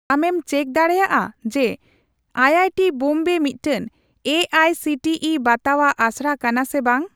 ᱟᱢᱮᱢ ᱪᱮᱠ ᱰᱟᱲᱮᱭᱟᱜᱼᱟ ᱡᱮ ᱟᱭᱟᱭᱴᱤ ᱵᱳᱢᱵᱮ ᱢᱤᱫᱴᱟᱝ A I C T E ᱵᱟᱛᱟᱣᱟᱜ ᱟᱥᱲᱟ ᱠᱟᱱᱟ ᱥᱮ ᱵᱟᱝ ?